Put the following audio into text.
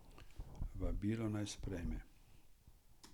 Vabilo, naj sprejme.